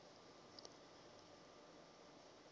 e bego e le ka